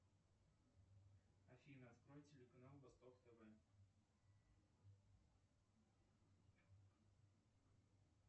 афина открой телеканал восток тв